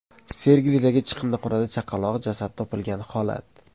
Sergelidagi chiqindixonadan chaqaloq jasadi topilgan holat.